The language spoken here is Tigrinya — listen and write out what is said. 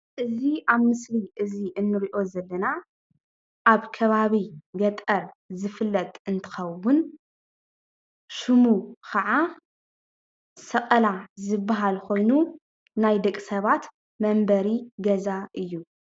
እዚ ኣብ ምስሊ እዚ እንሪኦ ዘለና ኣብ ከባቢ ገጠር ዝፍለጥ እንትኸዉን ሽሙ ከዓ ሰቐላ ዝብሃል ኾይኑ ናይ ደቂ ሰባት መንበሪ ገዛ እዩ።